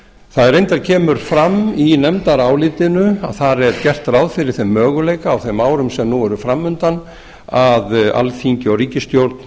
það kemur reyndar fram í nefndarálitinu að það er gert ráð á er þeim möguleika á þeim árum sem nú eru fram undan að alþingi og ríkisstjórn